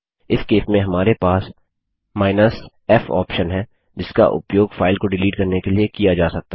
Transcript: इस केस में हमारे पास f ऑप्शन है जिसका उपयोग फाइल को डिलीट करने के लिए किया जा सकता है